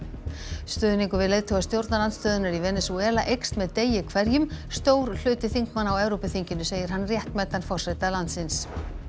stuðningur við leiðtoga stjórnarandstöðunnar í Venesúela eykst með degi hverjum stór hluti þingmanna á Evrópuþinginu segir hann réttmætan forseta landsins